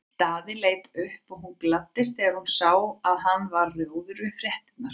Daði leit upp og hún gladdist þegar hún sá að hann varð rjóður við fréttirnar.